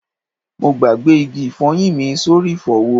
Mo gbàgbé igi ifoyin mi sórí ifowo